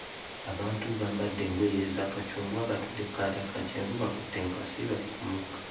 Abantu bambadde engoye eza kacungwa batudde kkaata ka kyenvu bakutte enkasi bali ku mugga.